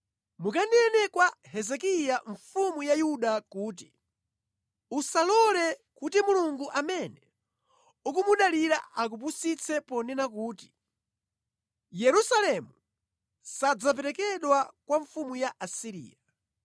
“Kawuzeni Hezekiya mfumu ya Yuda kuti: Usalole kuti Mulungu amene ukumudalira akupusitse ponena kuti, ‘Yerusalemu sadzaperekedwa mʼmanja mwa mfumu ya ku Asiriya.’